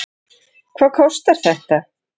Hvað kostar þetta?